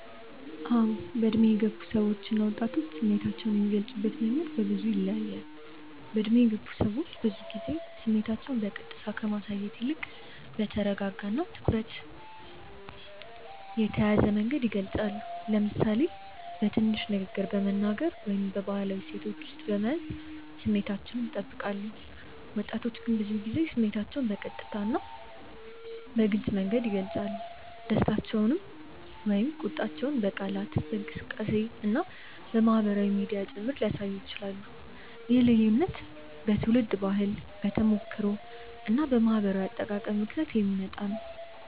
አዎ፣ በዕድሜ የገፉ ሰዎች እና ወጣቶች ስሜታቸውን የሚገልጹበት መንገድ ብዙ ጊዜ ይለያያል። በዕድሜ የገፉ ሰዎች ብዙ ጊዜ ስሜታቸውን በቀጥታ ከማሳየት ይልቅ በተረጋጋ እና በትኩረት የተያዘ መንገድ ይገልጻሉ፤ ለምሳሌ በንግግር ትንሽ በመናገር ወይም በባህላዊ እሴቶች ውስጥ በመያዝ ስሜታቸውን ይጠብቃሉ። ወጣቶች ግን ብዙ ጊዜ ስሜታቸውን በቀጥታ እና በግልጽ መንገድ ይገልጻሉ፤ ደስታቸውን ወይም ቁጣቸውን በቃላት፣ በእንቅስቃሴ እና በማህበራዊ ሚዲያ ጭምር ሊያሳዩ ይችላሉ። ይህ ልዩነት በትውልድ ባህል፣ በተሞክሮ እና በማህበራዊ አጠቃቀም ምክንያት የሚመጣ ነው።